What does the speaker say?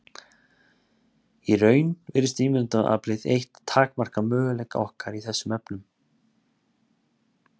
Í raun virðist ímyndunaraflið eitt takmarka möguleika okkar í þessum efnum.